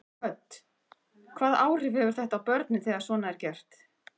Hödd: Hvaða áhrif hefur þetta á börnin þegar svona er gert?